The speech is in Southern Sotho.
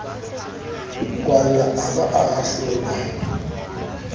kwallwa a ba a ahlolwa